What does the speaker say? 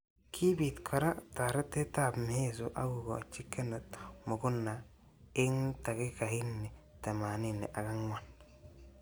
Kibit kora taretet ab miheso akokochi Kenneth Muguna eng takikaini temanini ak angwan.